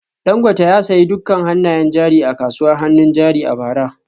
Dangote ya sayi dukkan hannayen jari a kasuwar hannun jari a bara